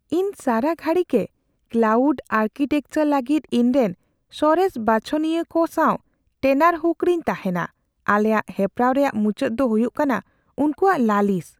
ᱤᱧ ᱥᱟᱨᱟ ᱜᱷᱟᱹᱲᱤ ᱜᱮ ᱠᱞᱟᱣᱩᱰ ᱟᱨᱠᱤᱴᱮᱠᱪᱟᱨ ᱞᱟᱹᱜᱤᱫ ᱤᱧᱨᱮᱱ ᱥᱚᱨᱮᱥ ᱵᱟᱪᱷᱱᱟᱣᱤᱭᱟᱹ ᱠᱚ ᱥᱟᱶ ᱴᱮᱱᱟᱨᱦᱩᱠ ᱨᱮᱧ ᱛᱟᱦᱮᱱᱟ ᱾ ᱟᱞᱮᱭᱟᱜ ᱦᱮᱯᱨᱟᱣ ᱨᱮᱭᱟᱜ ᱢᱩᱪᱟᱹᱫ ᱫᱚ ᱦᱩᱭᱩᱜ ᱠᱟᱱᱟ ᱩᱱᱠᱩᱣᱟᱜ ᱞᱟᱹᱞᱤᱥ ᱾